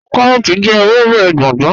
Kàróòtì jẹ̀ èwèbé gbóngbó.